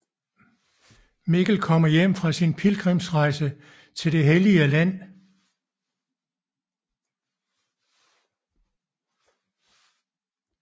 Mikkel kommer hjem fra sin pilgrimsrejse til det hellige land